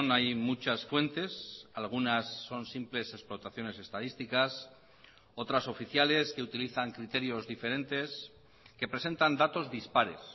hay muchas fuentes algunas son simples explotaciones estadísticas otras oficiales que utilizan criterios diferentes que presentan datos dispares